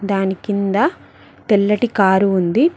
దాని కింద తెల్లటి కారు ఉంది.